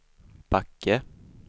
Backe